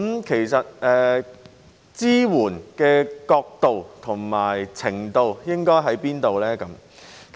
其實，有關支援應該是到甚麼程度呢？